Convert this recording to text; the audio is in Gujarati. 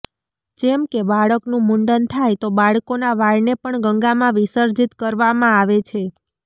જેમકે બાળકનું મુંડન થાય તો બાળકોના વાળને પણ ગંગામાં વિસર્જિત કરવામાં આવે છે